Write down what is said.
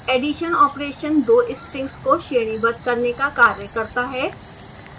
addition operation दो strings को श्रेणीबद्ध करने का कार्य करता है